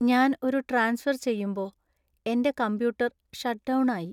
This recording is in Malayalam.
ഞാൻ ഒരു ട്രാൻസ്ഫർ ചെയ്യുമ്പോ എന്‍റെ കമ്പ്യൂട്ടർ ഷട്ട്ഡൗൺ ആയി .